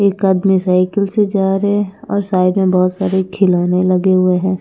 एक आदमी साइकिल से जा रहे हैं और साइड में बहोत सारे खिलौने लगे हुए हैं।